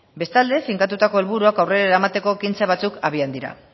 bestalde finkatutako helburuak aurrera eramateko ekintza batzuk abian dira